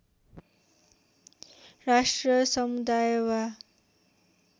राष्ट्र समुदाय वा